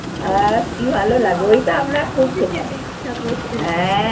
আর কি ভালো লাগতো ঐ টা আমরা খুব খেতাম। হ্যাঁ।